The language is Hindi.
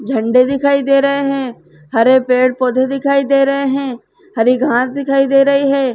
झंडे दिखाई दे रहें हैं। हरे पेड़ पौधे दिखाई दे रहें हैं। हरी घास दिखाई दे रही है।